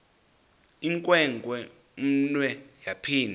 inewenkwe umnwe yaphinda